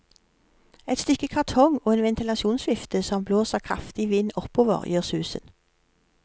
Et stykke kartong og en ventilasjonsvifte som blåser kraftig vind oppover, gjør susen.